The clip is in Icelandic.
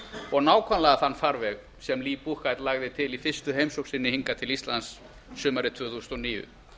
og nákvæmlega þann farveg sem lee buchheit lagði til í fyrstu heimsókn sinni hingað til íslands sumarið tvö þúsund og níu